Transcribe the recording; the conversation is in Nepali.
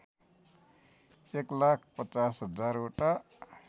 एकलाख ५० हजारवटा